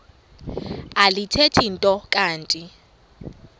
alithethi nto kanti